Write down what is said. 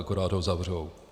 Akorát ho zavřou.